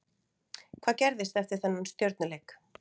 Hvað gerðist eftir þennan Stjörnuleik?